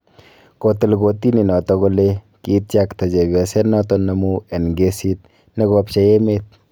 kotil kotini noto kole kityaktka chepyoset noton amun en kesit nekopchei emet